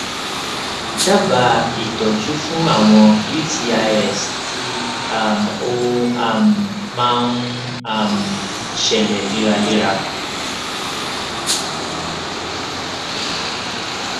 dábàá ìtọjú fún àwọn utis tí um ó um máa um ń ṣẹlẹ léraléra